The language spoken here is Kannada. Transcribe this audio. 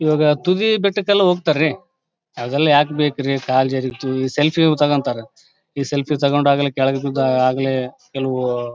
ಇವಾಗ ತುದಿ ಬೆಟ್ಟಕ್ಕೆ ಎಲ್ಲಾ ಹೋಗತ್ತಾರೆ ಅದೆಲ್ಲಾ ಯಾಕ್ ಬೇಕ್ರಿ ಕಾಲ ಜರೀಗ್ ತ್ತು ಈ ಸೆಲ್ಫಿಯು ತೊಕೊಂತರೆ ಈ ಸೆಲ್ಫಿ ತೊಕೊಂಡಾಗಲೇ ಕೆಳಗ್ ಬಿದ್ದ್ ಆಗಲ್ಲೆ ಕೆಲವು--